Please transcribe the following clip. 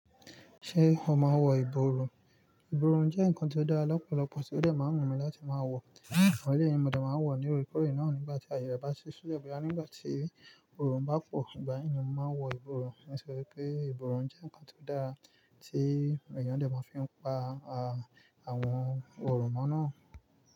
Ṣé o máa ń wọ ìborùn? Ìborùn jẹ́ nǹkan tí ó dára lọ́pọ̀lọpọ̀ tí ó dẹ̀ máa ń wù mí láti máa wọ, àwọn eleyi ni mo dẹ̀ máa ń wọ nínú ìkórè náà nígbà tí ayẹre bá ti si sile báyìí, nígbà tí oòrùn bá pọ̀, ìgbà yẹn ni mo máa ń wọ ìborùn. Mo sì rí pé ìborùn jẹ́ nǹkan tí ó dára tí èèyàn lè máa fi ń pa àwọn òròmọ́ náà.